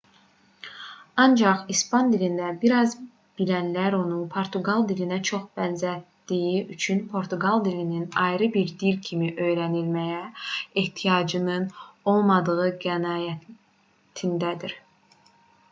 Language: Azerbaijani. ancaq i̇span dilində bir az bilənlər onu portuqal dilinə çox bənzətdiyi üçün portuqal dilinin ayrı bir dil kimi öyrənilməyə ehtiyacının olmadığı qənaətindədir